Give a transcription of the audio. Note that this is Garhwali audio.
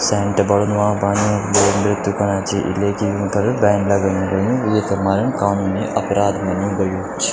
सेंट बणनु वांक बाणू लोग नृत्य कना छि इलेकी यूफर बेन लगयुं ल्यु येथे मरण कानूनी अपराध मनु गयु छ।